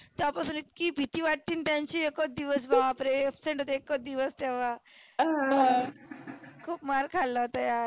तेव्हा पासून इतकी भितीवाटती ना त्यांची एकच दिवस बाप रे absent होते एकच दिवस तेव्हा. हा खुप मार खाल्ला होता यार.